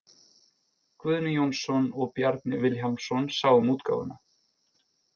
Guðni Jónsson og Bjarni Vilhjálmsson sáu um útgáfuna.